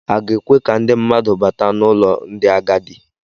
A ga-ekwe ka ndị mmadụ bata n'ụlọ ndị agadi.